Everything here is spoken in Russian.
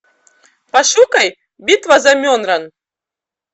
пошукай битва за менрян